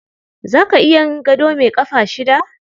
Za ka iya yin gado mai ƙafa shida?